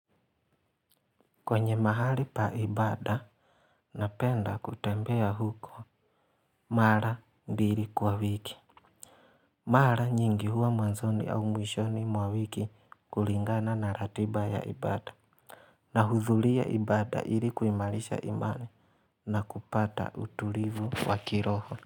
Kwenye mahali pa ibada napenda kutembea huko mara mbili kwa wiki. Mara nyingi huwa mwanzoni au mwishoni mwa wiki kulingana na ratiba ya ibada. Nahudhuria ibada ili kuimarisha imani na kupata utulivu wa kiroho.